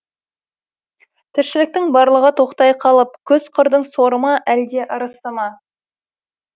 тіршіліктің барлығы тоқтай қалып күз қырдың соры ма әлде ырысы ма